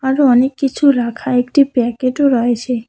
আরো অনেক কিছু রাখা একটি প্যাকেটও রয়েছে।